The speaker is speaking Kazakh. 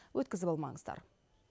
өткізіп алмаңыздар